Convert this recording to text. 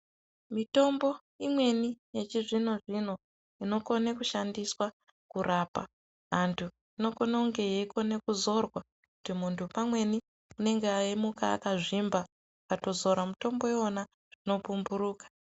Mitombo imweni yechizvino-zvino, unokone kushandiswa kurapa antu, inokone kunge yeikone kuzorwa kuti muntu pamweni, unenge eimuka akazvimba, ukatozora mutombo iwona zvinopumphuruka.